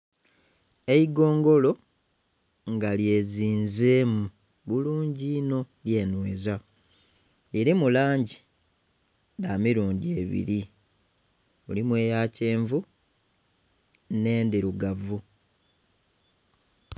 Eigongolo nga lyezinzemu bulungi inho lyenhweza lirimu langi dhamirundhi ebiri mulimu eyakyenvu n'endhirugavu.